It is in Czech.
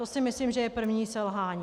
To si myslím, že je první selhání.